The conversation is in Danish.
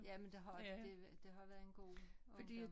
Jamen det har det det har været en god årgang